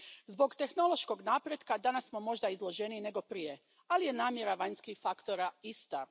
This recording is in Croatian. Zbog tehnološkog napretka danas smo možda izloženiji nego prije, ali je namjera vanjskih faktora ista.